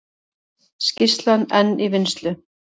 Skýrslan enn í vinnslu